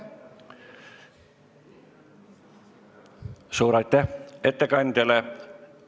Suur aitäh ettekandjale!